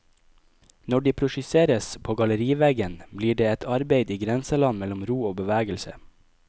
Når de projiseres på galleriveggen, blir det et arbeid i grenseland mellom ro og bevegelse.